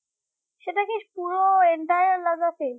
সেটাকি পুরো entire lodge আছে